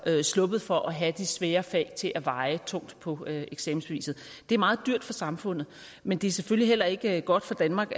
sluppet for at have de svære fag til at veje tungt på eksamensbeviset det er meget dyrt for samfundet men det er selvfølgelig heller ikke godt for danmark